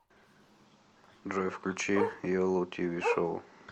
джой включи еллу ти ви шоу